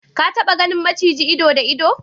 ka taba ganin maciji ido da ido?